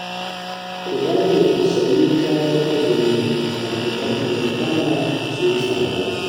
Ku dage ku sayi kayan azumi kafin watan ya kama su yi tsada